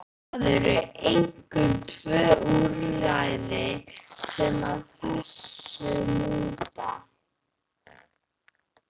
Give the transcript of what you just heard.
Það eru einkum tvö úrræði sem að þessu lúta.